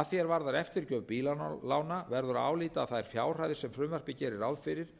að því er varðar eftirgjöf bílalána verður að álíta að þær fjárhæðir sem frumvarpið gerir ráð fyrir